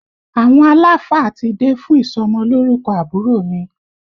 Àwọn aláàfáà ti dé fún ìsọmọ lórúkọ àbúrò mi